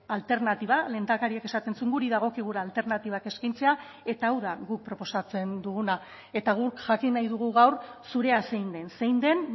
alternatiba lehendakariak esaten zuen guri dagokigula alternatibak eskaintzea eta hau da guk proposatzen duguna eta guk jakin nahi dugu gaur zurea zein den zein den